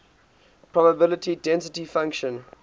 probability density function